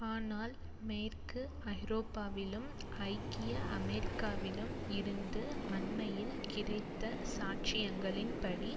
ஆனால் மேற்கு ஐரோப்பாவிலும் ஐக்கிய அமெரிக்காவிலும் இருந்து அண்மையில் கிடைத்த சாட்சியங்களின் படி